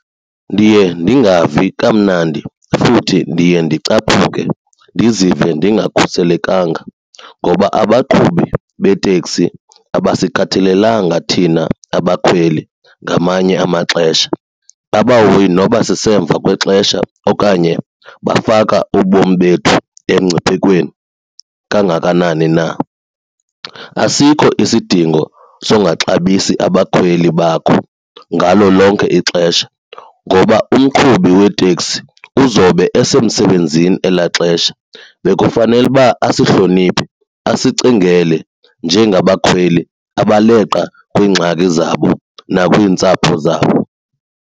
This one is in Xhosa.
Ndiye ndingavi kamnandi futhi ndiye ndicaphuke ndizive ndingakhuselekanga ngoba abaqhubi beteksi abasikhathalelanga thina abakhweli ngamanye amaxesha. Abahoyi noba sisemva kwexesha okanye bafaka ubomi bethu emngciphekweni kangakanani na. Asikho isidingo songaxabisi abakhweli bakho ngalo lonke ixesha ngoba umqhubi weteksi uzobe esemsebenzini elaa xesha bekufanele uba asihloniphe asicingele njengabakhweli abaleqa kwiingxaki zabo nakwiintsapho zabo.